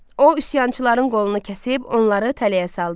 O üsyançıların qolunu kəsib onları tələyə saldı.